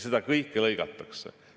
Seda kõike lõigatakse.